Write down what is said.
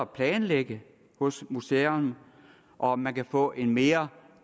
planlægge hos museerne og at man kan få en mere